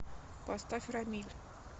поставь рамиль